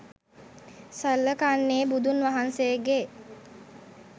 සලකන්නේ බුදුන් වහන්සේගේ